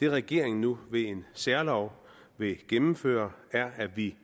det regeringen nu ved en særlov vil gennemføre er at vi